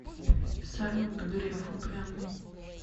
салют греф упрямый